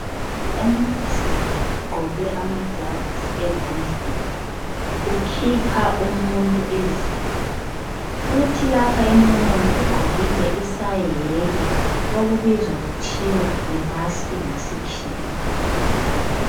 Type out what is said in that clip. Umnunzana ugqoke amaglavisi esandleni ukhipha umuntu izinyo kuthi lapha emlonyeni ugqokile isaheke okubizwa kuthiwa yimaski ngesikhiwa.